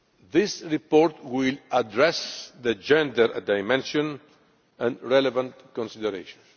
This report will address the gender dimension and relevant considerations.